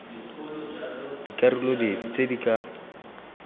dikarolo dife tse di ka